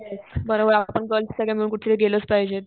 Yes. बरोबर आपण girls सगळे मिळून कुठेतरी गेलंच पाहिजेत.